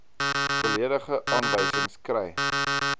volledige aanwysings kry